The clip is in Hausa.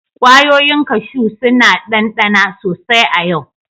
Kwayoyin kashu suna dandana sosai a yau.